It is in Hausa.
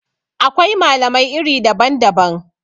Akwai malamai iri daban-daban